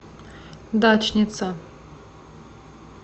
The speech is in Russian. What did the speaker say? дачница